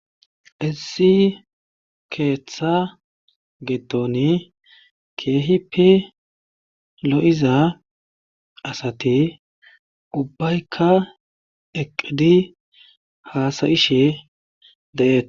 Issi keetha giddoni keehippe lo7iza asati ubbayka eqqidi haasa7ishe de7eete.